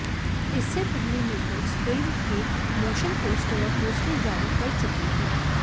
इससे पहले makers film के मोशन पोस्टर और पोस्टर जारी कर चुके है